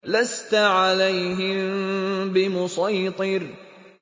لَّسْتَ عَلَيْهِم بِمُصَيْطِرٍ